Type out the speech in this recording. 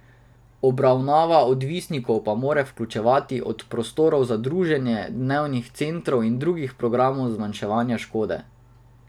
Obravnava odvisnikov pa mora vključevati od prostorov za druženje, dnevnih centrov in drugih programov zmanjševanja škode.